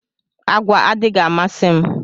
Àgwà adịghị amasi mụ